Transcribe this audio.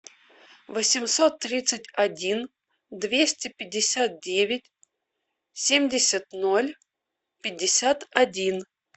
восемьсот тридцать один двести пятьдесят девять семьдесят ноль пятьдесят один